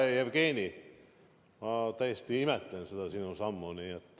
Hea Jevgeni, ma tõesti imetlen seda sinu sammu.